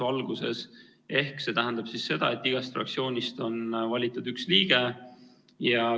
See tähendab seda, et igast fraktsioonist on valitud üks liige.